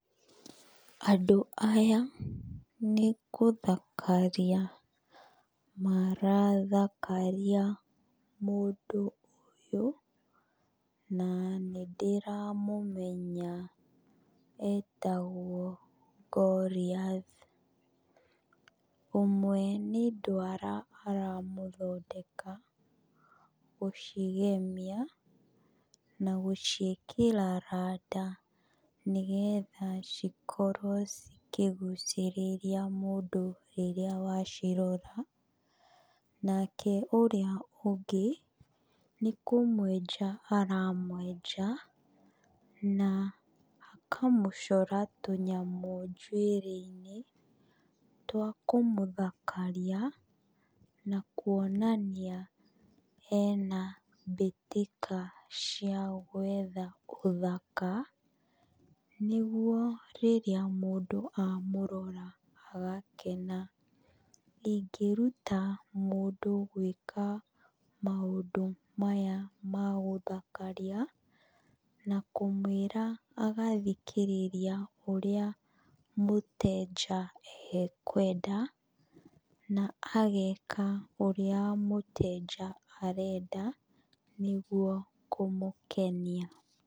Andũ aya nĩ kũthakaria marathakaria mũndũ ũyũ, na nĩ ndĩramũmenya etagwo Goliath. Ũmwe nĩ ndwara aramũthondeka, gũcigemia na gũciĩkĩra randa, nĩ getha cikorwo cikĩgucĩrĩria mũndũ rĩrĩa aracirora. Nake ũrĩa ũndĩ nĩ kũmwenja aramwenja, na akamũcora tũnyamũ njuĩrĩ-inĩ, twa kũmũthakaria na kuonania ena mbĩtĩka cia gwetha ũthaka, nĩguo rĩrĩa mũndũ amũrora agakena. Ingĩruta mũndũ gwĩka maũndũ maya ma gũthakaria, na kũmwĩra agathikĩrĩria aũríĩ mũtenja ekwenda, na ageka ũrĩa mũtenja arenda, nĩguo kũmũkenia.